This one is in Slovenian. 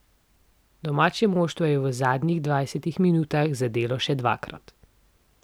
Domače moštvo je v zadnjih dvajsetih minutah zadelo še dvakrat.